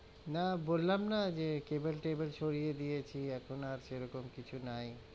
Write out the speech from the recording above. না বললাম না যে cable টেবল সরিয়ে দিয়েছি এখন আর সেরকম কিছু নাই,